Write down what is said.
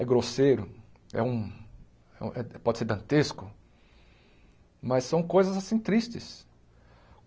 É grosseiro, é um é um pode ser dantesco, mas são coisas, assim, tristes.